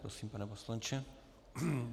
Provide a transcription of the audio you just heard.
Prosím, pane poslanče.